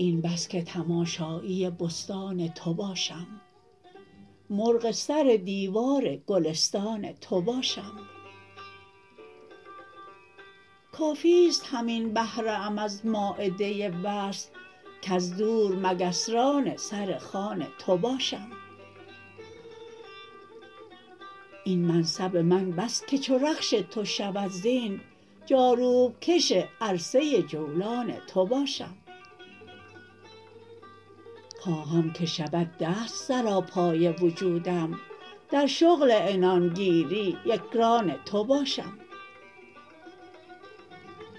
این بس که تماشایی بستان تو باشم مرغ سر دیوار گلستان تو باشم کافیست همین بهره ام از مایده وصل کز دور مگس ران سر خوان تو باشم این منصب من بس که چو رخش تو شود زین جاروب کش عرصه جولان تو باشم خواهم که شود دست سراپای وجودم در شغل عنان گیری یکران تو باشم